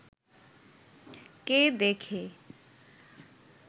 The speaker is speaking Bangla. কে দেখে